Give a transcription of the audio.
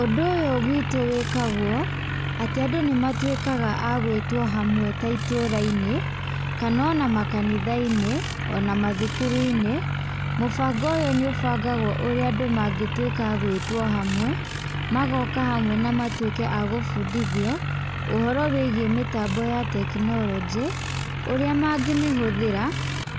Ũndũ ũyũ gwitũ wĩkagwo, atĩ andũ nĩmatuĩkaga agwĩtwo hamwe ta itũrainĩ, kana ona makanithainĩ, ona mathukuruinĩ, mũbango ũyũ nĩ ũbangagwo ũrĩa andũ mũngĩtuĩka agwĩtwo hamwe, magoka hamwe na matuĩke a gũbundithio, ũhoro wĩgie mĩtambo ya tekinolojĩ, ũrĩa mangĩmĩhũthĩra,